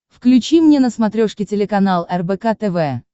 включи мне на смотрешке телеканал рбк тв